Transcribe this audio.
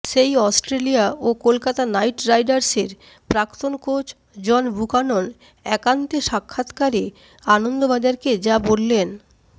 সেই অস্ট্রেলিয়া ও কলকাতা নাইট রাইডার্সের প্রাক্তন কোচ জন বুকানন একান্ত সাক্ষাৎকারে আনন্দবাজারকে যা বললেন